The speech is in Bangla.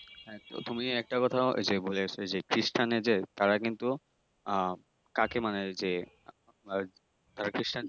হ্যাঁ তো তুমি একটা কথা যে খ্রিষ্টানদের যে তার কিন্তু আহ কাকে মানে যে যারা খ্রিষ্টান